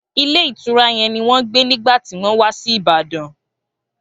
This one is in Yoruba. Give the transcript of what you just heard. Ilé ìtura yẹn ni wọn gbe nigba ti wọn wa si Ibadan.